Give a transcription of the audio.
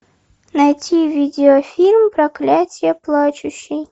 найти видеофильм проклятье плачущей